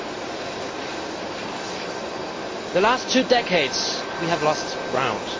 Over the last two decades we have lost ground.